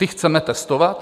Ty chceme testovat?